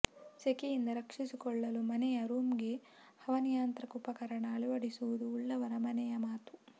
ಸೆಕೆಯಿಂದ ರಕ್ಷಿಸಿಕೊಳ್ಳಲು ಮನೆಯ ರೂಮ್ಗೆ ಹವಾನಿಯಂತ್ರಿತ ಉಪಕರಣ ಅಳವಡಿಸುವುದು ಉಳ್ಳವರ ಮನೆಯ ಮಾತು